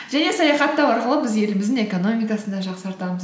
және саяхаттау арқылы біз еліміздің экономикасын да жақсартамыз